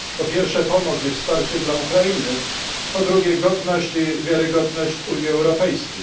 Po pierwsze pomoc i wsparcie dla Ukrainy, po drugie godność i wiarygodność Unii Europejskiej.